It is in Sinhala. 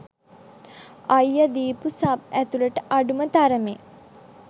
අයියා දිපු සබ්ඇතුලත අඩුම තරමේ